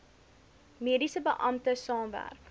mediese beampte saamwerk